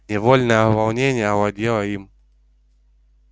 невольное волнение овладело им